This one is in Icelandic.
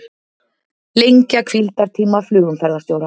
Lengja hvíldartíma flugumferðarstjóra